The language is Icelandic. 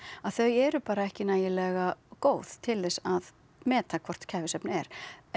þau eru bara ekki nægilega góð til þess að meta hvort kæfisvefn er